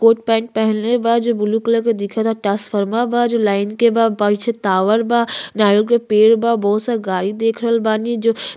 कोट pant पहनले बा जो ब्लू कलर के दिखेता ट्रांसफरमर बा जो लाइन के बा पीछे टावर बा नारियल के पेड़ बा बहुत सा गाड़ी देख रहल बानी जो --